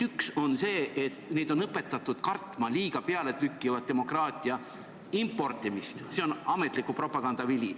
Üks on see, et neid on õpetatud kartma liiga pealetükkivat demokraatia importimist, see on ametliku propaganda vili.